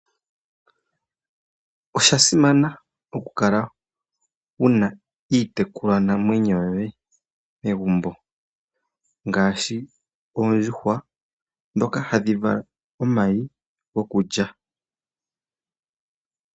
Osha simana okukala wu na iitekulwanamwenyo yoye megumbo ngaashi oondjuhwa ndhoka hadhi vala omayi gokulya.